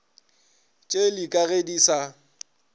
tšeli ka ge di sa